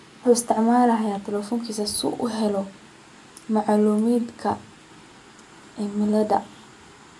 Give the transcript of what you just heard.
Wuxuu isticmaalaa teleefankiisa si uu u helo macluumaadka cimilada.